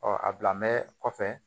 Ɔ a bila mɛ kɔfɛ